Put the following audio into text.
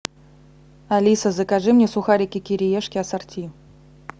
алиса закажи мне сухарики кириешки ассорти